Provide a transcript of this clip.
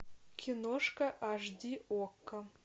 киношка аш ди окко